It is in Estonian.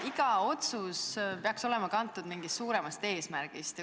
Iga otsus peaks olema kantud mingist suuremast eesmärgist.